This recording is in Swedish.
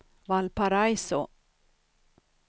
Valparaiso